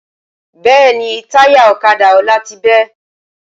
Bẹ́ẹ̀ni táyà ọ̀kadà Ọlá ti bẹ́